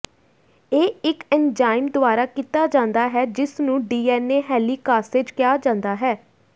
ਇਹ ਇੱਕ ਐਨਜ਼ਾਈਮ ਦੁਆਰਾ ਕੀਤਾ ਜਾਂਦਾ ਹੈ ਜਿਸ ਨੂੰ ਡੀਐਨਏ ਹੈਲੀਕਾਸੇਜ਼ ਕਿਹਾ ਜਾਂਦਾ ਹੈ